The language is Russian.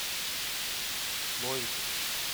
новиков